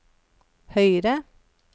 høyre